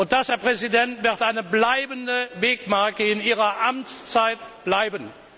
Das, Herr Präsident, wird eine bleibende Wegmarke in Ihrer Amtszeit bleiben!